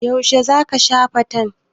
Yaushe za ka sha fantan?